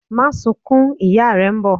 Máa sunkún! ìyá rẹ̀ n bọ̀'